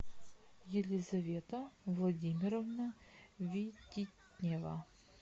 елизавета владимировна вититнева